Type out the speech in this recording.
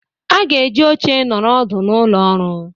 A ga-eji oche nọrọ ọdụ n'ụlọ ọrụ.